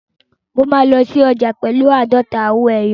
Mo máa lọ sí ọjà pẹ̀lú àádọ́ta owó ẹyọ.